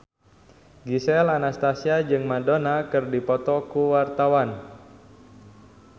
Gisel Anastasia jeung Madonna keur dipoto ku wartawan